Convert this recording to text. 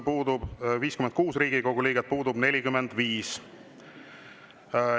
Kohal on 56 Riigikogu liiget, puudub 45.